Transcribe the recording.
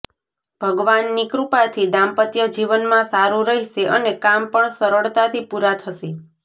ભગવાનની કૃપાથી દાંપત્યજીવનમાં સારું રહેશે અને કામ પણ સરળતાથી પૂરા થશે